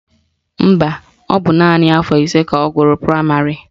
Mba, ọ bụ naanị afọ ise ka ọ gụrụ praịmarị